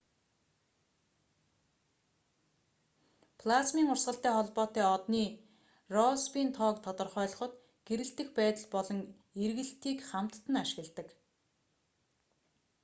плазмын урсгалтай холбоотой одны россбийн тоог тодорхойлоход гэрэлтэх байдал болон эргэлтийг хамтад нь ашигладаг